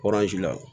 la